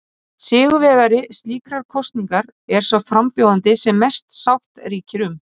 Sigurvegari slíkrar kosningar er sá frambjóðandi sem mest sátt ríkir um.